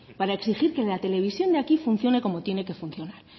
para exigir que la televisión de aquí funcione como tiene que funcionar